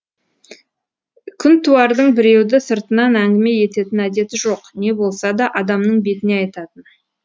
күнтуардың біреуді сыртынан әңгіме ететін әдеті жоқ не болса да адамның бетіне айтатын